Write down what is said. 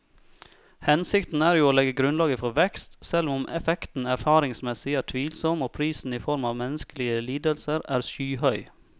Hensikten er jo å legge grunnlaget for vekst, selv om effekten erfaringsmessig er tvilsom og prisen i form av menneskelige lidelser er skyhøy.